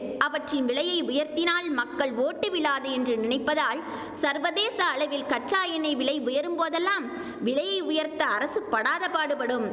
அவற்றின் விலையை உயர்த்தினால் மக்கள் ஓட்டு விழாது என்று நினைப்பதால் சர்வதேச அளவில் கச்சா எண்ணெய் விலை உயரும் போதெல்லாம் விலையை உயர்த்த அரசு படாதபாடுபடும்